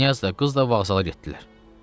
Knyaz da, qız da vağzala getdilər.